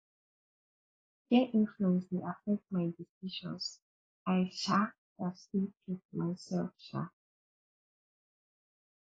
peer influence dey affect my decisions i um gats stay true to myself um